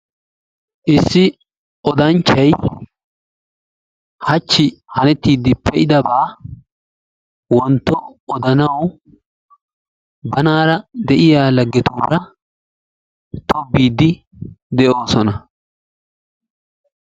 Issi odanchchay hachchi hanettiidi pee'idabaa wontto odanawu banaara de'iya laggetuura tobbiidi de'oosona.